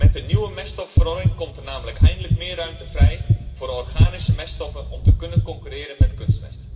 Met de nieuwe meststoffenverordening komt er namelijk eindelijk meer ruimte voor organische meststoffen om te kunnen concurreren met kunstmest.